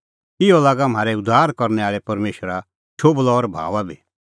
इहअ लागा म्हारै उद्धार करनै आल़ै परमेशरा शोभलअ और भाऊंआ बी